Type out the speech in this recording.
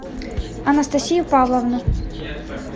анастасию павловну